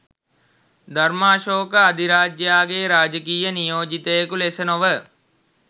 ධර්මාශෝක අධිරාජයාගේ රාජකීය නියෝජිතයකු ලෙස නොව